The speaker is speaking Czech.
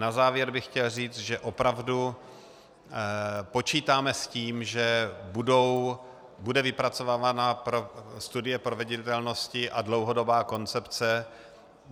Na závěr bych chtěl říct, že opravdu počítáme s tím, že bude vypracovaná studie proveditelnosti a dlouhodobá koncepce.